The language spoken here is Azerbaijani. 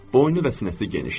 Boynu və sinəsi genişdir.